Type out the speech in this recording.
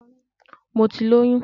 Mo ti lóyún